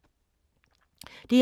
DR2